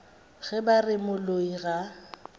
ge ba re moloi ga